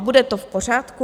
A bude to v pořádku?